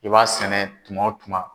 I b'a sɛnɛ tuma o tuma.